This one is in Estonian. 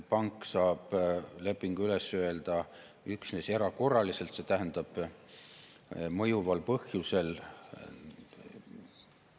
Pank saab lepingu üles öelda üksnes erakorraliselt, see tähendab mõjuval põhjusel.